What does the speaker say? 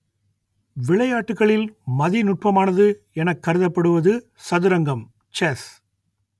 விளையாட்டுகளில் மதிநுட்பமானது எனக் கருதப்படுவது சதுரங்கம் செஸ்